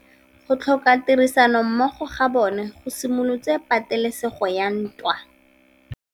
Go tlhoka tirsanommogo ga bone go simolotse patêlêsêgô ya ntwa.